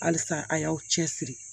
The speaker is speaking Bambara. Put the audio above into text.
Halisa a y'aw cɛsiri